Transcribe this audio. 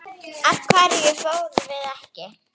Af hverju fórum við ekki?